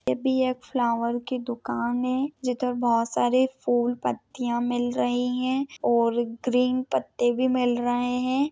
ये भी एक फ्लॉवर की दुकान है जिधर बहुत सारी फूल पत्तिया मिल रही है और ग्रीन पत्ते भी मिल रहे है।